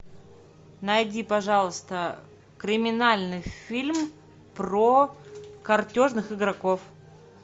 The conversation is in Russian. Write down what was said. найди пожалуйста криминальный фильм про картежных игроков